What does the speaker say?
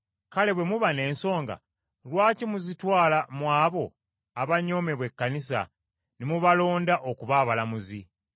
Kale bwe muba n’ensonga lwaki muzitwala mu abo abanyoomebwa ekkanisa ne mubalonda okuba abalamuzi?